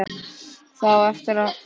Það á eftir að hlusta.